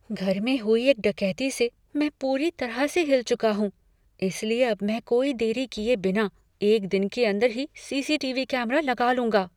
घर में हुई एक डकैती से मैं पूरी तरह से हिल चुका हूँ, इसलिए अब मैं कोई देरी किए बिना एक दिन के अंदर ही C C T V camera लगा लूँगा।